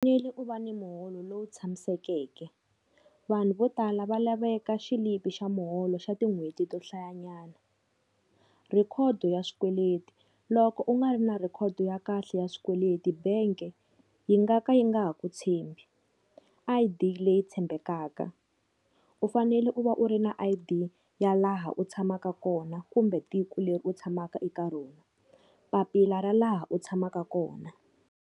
U fanele u va ni muholo lowu tshamisekeke, vanhu vo tala va laveka xilipi xa muholo xa tin'hweti to hlayanyana. Record ya swikweleti loko u nga ri na record ya kahle ya swikweleti bank yi nga ka yi nga ha ku tshembi. I_D leyi tshembekaka u fanele u va u ri na I_D ya laha u tshamaka kona kumbe tiko leri u tshamaka eka rona, papila ra laha u tshamaka kona.